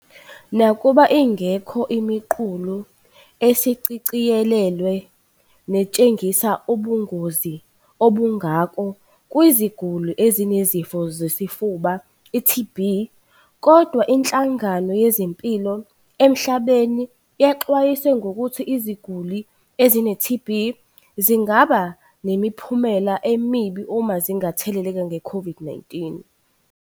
"Nakuba ingekho imiqulu esishicilelwe netshengisa ubungozi obungako kwiziguli ezinesifo sofuba, i-TB, kodwa Inhlangano Yezempilo Emhlabeni yexwayise ngokuthi iziguli ezine-TB zingaba nemiphumela emibi uma zingatheleleka nge-COVID-19."